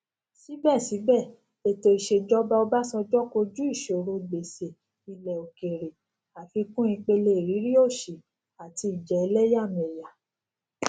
sibe etoisejoba obasanjo koju isoro gbese ile okeere afikun ipele iriri osi ati ija eleyameya